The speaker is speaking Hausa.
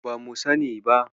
Bamu sani ba.